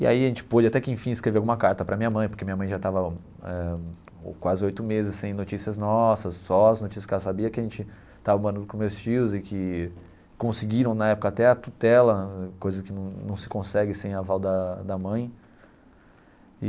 E aí a gente pôde até que enfim escrever uma carta para minha mãe, porque minha mãe já tava eh quase oito meses sem notícias nossas, só as notícias que ela sabia que a gente tava morando com meus tios e que conseguiram na época até a tutela, coisa que não não se consegue sem aval da da mãe.